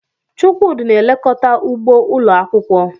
Chukwudi na-elekọta ugbo ụlọ akwụkwọ.